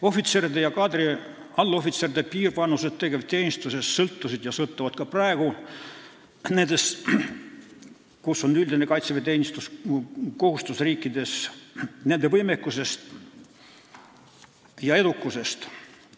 Ohvitseride ja kaadriallohvitseride piirvanus tegevteenistuses sõltus ja sõltub ka praegu nendes riikides, kus on üldine kaitseväeteenistuskohustus, nende võimekusest ja edukusest.